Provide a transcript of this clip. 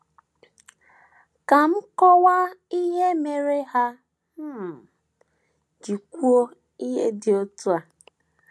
Ka m kọwaa ihe mere ha um ji kwuo ihe dị otú ahụ.